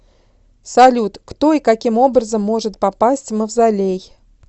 салют кто и каким образом может попасть в мавзолей